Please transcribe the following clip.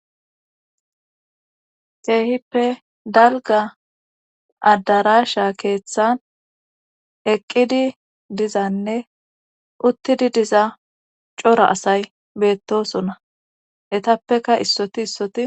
keehippe dalga addarasha keeththan eqqidi dizanne uttidi diza cora asay beettosonna etappeka issoti issoti